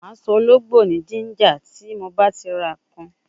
Ma so ologbo ni ginger ti ba ti ra kan